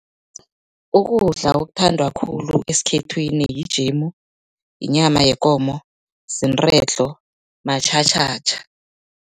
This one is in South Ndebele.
Ukudla okuthandwa khulu esikhethwini yijemu, yinyama yekomo, ziinredlo matjhatjhatjha.